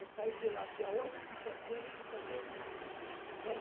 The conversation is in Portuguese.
Eu saí de lá dia oito de setembro de setenta e três